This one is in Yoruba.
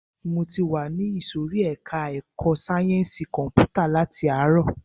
Mo ti wà ìsòrí ẹka ẹ̀kọ́ sáyẹnsì kọ̀mpútà láti ààrọ̀.